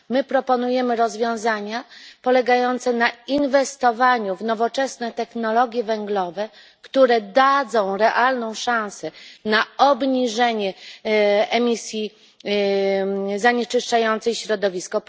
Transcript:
My proponujemy rozwiązania polegające na inwestowaniu w nowoczesne technologie węglowe, które dadzą realną szansę na obniżenie emisji zanieczyszczającej środowisko.